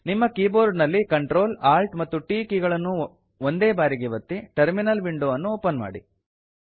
ನಿಮ್ಮ ಕೀಬೋರ್ಡ ನಲ್ಲಿ Ctrl Alt ಮತ್ತು T ಕೀ ಗಳನ್ನು ಒಂದೇ ಬಾರಿಗೆ ಒತ್ತಿ ಟರ್ಮಿನಲ್ ವಿಂಡೊ ಅನ್ನು ಓಪನ್ ಮಾಡಿ